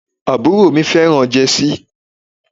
Àbúrò mi fẹ́ràn jẹ́sí.